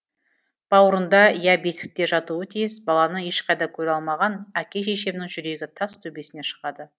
бауырында я бесікте жатуы тиіс баланы ешқайдан көре алмаған әке шешемнің жүрегі тас төбесіне шығады